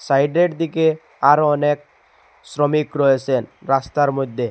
সাইডের দিকে আরো অনেক শ্রমিক রয়েসেন রাস্তার মইধ্যে ।